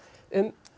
um